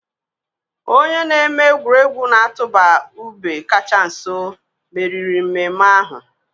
Onye na-eme egwuregwu na-atụba ube kacha nso meriri mmemme ahụ.